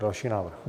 Další návrh.